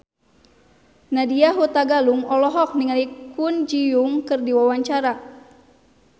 Nadya Hutagalung olohok ningali Kwon Ji Yong keur diwawancara